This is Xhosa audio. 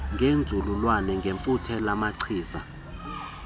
ngenzululwazi ngefuthe lamachiza